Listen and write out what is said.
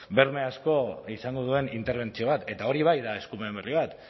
berme asko izango duen interbentzio bat eta hori bai da eskumen berri bat